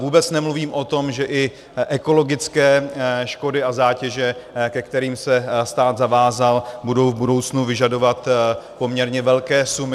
Vůbec nemluvím o tom, že i ekologické škody a zátěže, ke kterým se stát zavázal, budou v budoucnu vyžadovat poměrně velké sumy.